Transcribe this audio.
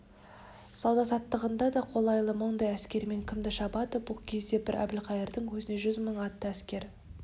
сауда-саттығыңа да қолайлы мұндай әскермен кімді шабады бұл кезде бір әбілқайырдың өзінде жүз мың атты әскер